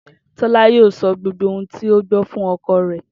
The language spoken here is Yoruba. Tó̩lá yóò so̩ gbogbo ohun tí ó gbó̩ fún o̩ko̩ rè